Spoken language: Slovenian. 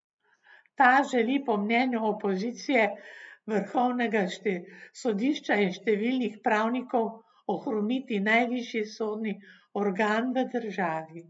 Ta želi po mnenju opozicije, vrhovnega sodišča in številnih pravnikov ohromiti najvišji sodni organ v državi.